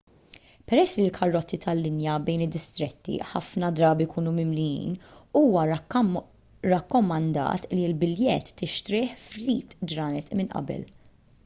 peress li l-karozzi tal-linja bejn id-distretti ħafna drabi jkunu mimlijin huwa rakkomandat li l-biljett tixtrih ftit ġranet minn qabel